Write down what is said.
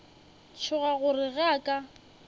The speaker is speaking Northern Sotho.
tšhoga gore ge a ka